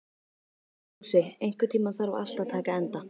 Fúsi, einhvern tímann þarf allt að taka enda.